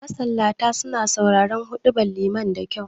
Masallata suna sauraren huɗubar liman da kyau